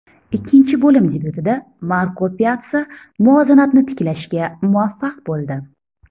Ikkinchi bo‘lim debyutida Marko Pyatsa muvozanatni tiklashga muvaffaq bo‘ldi.